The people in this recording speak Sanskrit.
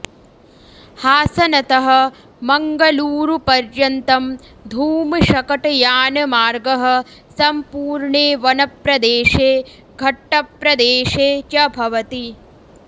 हासनतः मङ्गलूरुपर्यन्तम् धूमशकटयानमार्गः सम्पूर्णे वनप्रदेशे घट्टप्रदेशे च भवति